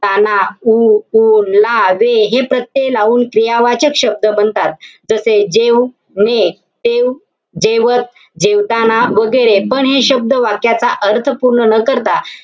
ताना, उ, उर, ला, वे हे प्रत्यय लावून क्रियावाचक शब्द बनतात. जसे जेवू, ने, ते, जेवत, जेवताना वैगेरे पण हे शब्द वाक्याचा अर्थ पूर्ण न करता,